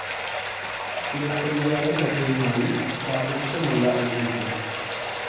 ചിലപ്പതികാരം കഥയുമായി സാധൃശ്യമുള്ള ഐതിഹ്യം.